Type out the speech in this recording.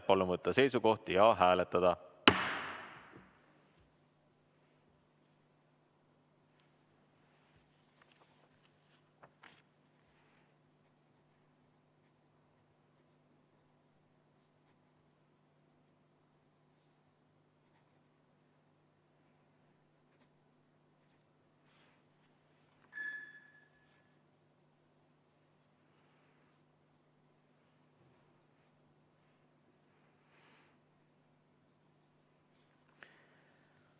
Palun võtta seisukoht ja hääletada!